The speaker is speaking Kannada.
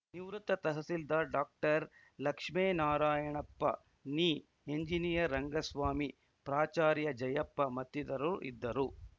ನಿವೃತ್ತ ತಹಸೀಲ್ದಾರ್‌ ಡಾಕ್ಟರ್ ಲಕ್ಷ್ಮೇನಾರಾಯಣಪ್ಪ ನಿ ಇಂಜಿನಿಯರ್‌ ರಂಗಸ್ವಾಮಿ ಪ್ರಾಚಾರ್ಯ ಜಯಪ್ಪ ಮತ್ತಿತರರು ಇದ್ದರು